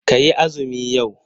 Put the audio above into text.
Ka yi azumi yau?